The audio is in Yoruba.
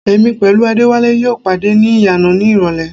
Èmi pẹ̀lú Adéwálé yóò pàdé ní ìyànà ní ìrọlẹ́